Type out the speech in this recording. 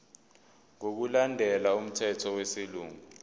ngokulandela umthetho wesilungu